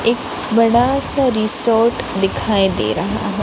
एक बड़ा सा रिसोर्ट दिखाई दे रहा हैं।